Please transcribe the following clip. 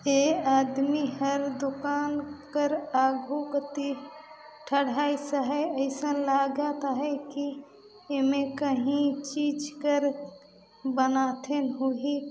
ए आदमी हर दुकान क्र आगू कति ठठाइस आहय अइसन लागत आहय की एमे काही चीज कर बनाथे होही--